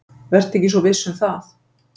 Vertu ekki svo viss um það.